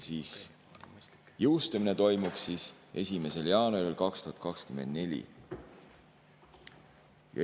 Eelnõu jõustumine toimuks 1. jaanuaril 2024.